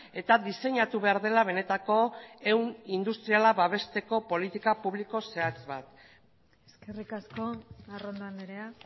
eta diseinatu behar dela benetako ehun industriala babesteko politika publiko zehatz bat eskerrik asko arrondo andrea